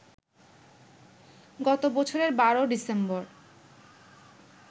গত বছরের ১২ ডিসেম্বর